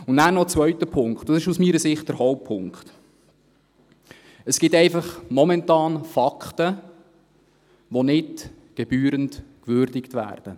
Und dann noch ein zweiter Punkt, und dies ist aus meiner Sicht der Hauptpunkt: Momentan gibt es einfach Fakten, die nicht gebührend gewürdigt werden.